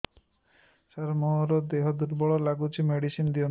ସାର ମୋର ଦେହ ଦୁର୍ବଳ ଲାଗୁଚି ମେଡିସିନ ଦିଅନ୍ତୁ